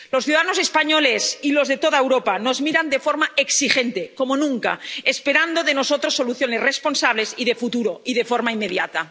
Los ciudadanos españoles y los de toda Europa nos miran de forma exigente, como nunca, esperando de nosotros soluciones responsables y de futuro, y de forma inmediata.